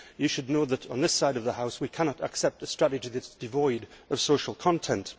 You should know that on this side of the House, we cannot accept a strategy that is devoid of social content.